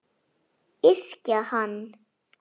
Yrkja hann!